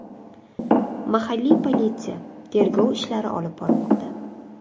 Mahalliy politsiya tergov ishlari olib bormoqda.